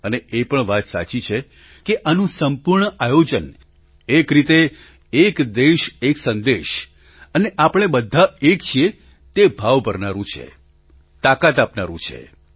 અને એ પણ વાત સાચી છે કે આનું સંપૂર્ણ આયોજન એક રીતે એક દેશ એક સંદેશ અને આપણે બધાં એક છીએ તે ભાવ ભરનારૂં છે તાકાત આપનારૂં છે